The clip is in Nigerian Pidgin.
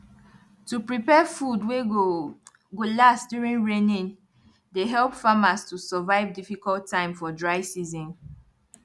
to prepare food wey go go last during raining dey help farmers to survive difficult time for dry season